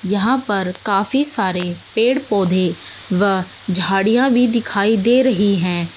यहां पर काफी सारे पेड़ पौधे व झाड़ियां भी दिखाई दे रही हैं।